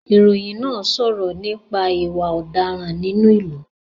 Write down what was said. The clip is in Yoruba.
Ìròyìn náà ń sọ̀rọ̀ nípa ìwà ọ̀daràn nínú ìlú